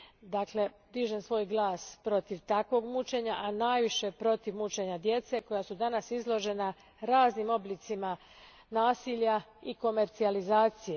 Dakle, dižem svoj glas protiv takvog mučenja, a najviše protiv mučenja djece koja su danas izložena raznim oblicima nasilja i komercijalizacije.